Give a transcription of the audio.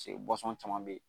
Paseke caman bɛ yen